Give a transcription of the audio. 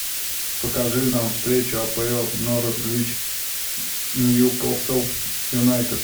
покажи нам встречу апл норвич ньюкасл юнайтед